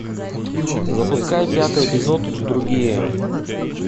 запускай пятый эпизод другие